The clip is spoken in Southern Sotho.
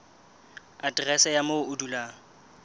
aterese ya moo o dulang